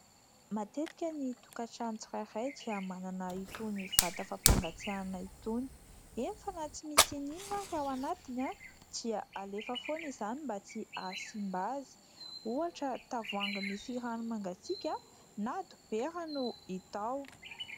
Matetika ny tokantrano tsirairay dia manana itony vata fampangatsiahana itony. Eny fa na tsy misy n'inona n'inona ara ao anatiny dia alefa foana izany mba tsy hahasimba azy ; ohatra tavoahangy misy rano mangatsiaka na dibera no hita ao.